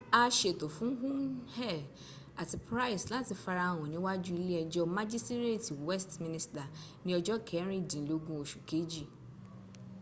a ṣètò fún huhne àti pryce láti farahàn níwájú ilé ẹjọ́ májísírètì westminster ní ọjọ́o kẹrìndínlógún oṣùu kejì